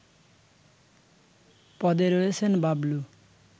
পদে রয়েছেন বাবলু